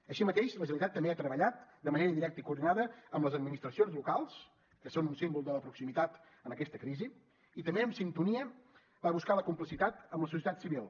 així mateix la generalitat també ha treballat de manera directa i coordinada amb les administracions locals que són un símbol de la proximitat en aquesta crisi i també en sintonia va buscar la complicitat amb la societat civil